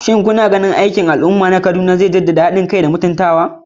Shin kuna ganin aikin al'umma da za a yi a Kaduna zai jaddada haɗin kai da mutuntawa?